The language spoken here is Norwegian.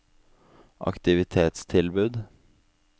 aktivitetstilbud